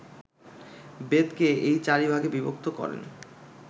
বেদকে এই চারি ভাগে বিভক্ত করেন